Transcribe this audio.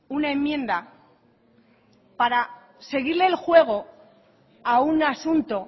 una enmienda para seguirle el juego a un asunto